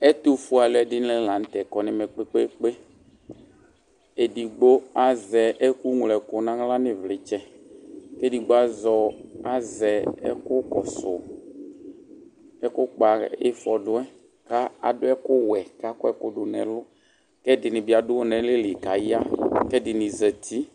Ɛtʋfue alʋɛdini lanʋtɛ kɔnʋ ɛmɛ kpe kpe kpe edigbo azɛ ɛkʋŋlo ɛkʋ nʋ aɣla nʋ ivlitsɛ kʋ ɛdigbo azɛ ɛkʋkɔsʋ ɛkʋ kpɔ ifɔdʋ yɛ kʋ adʋ ɛkʋwɛ kʋ akɔ dʋnʋ ɛlʋ ɛdini bi adʋ mɛlɛli kʋ aya kʋ ɛdini zati